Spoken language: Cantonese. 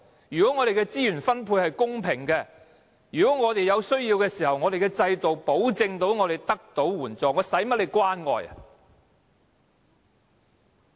如果我們的資源分配是公平的，如果我們有需要的時候，制度可保證我們得到援助，我們幹嗎要官員關愛？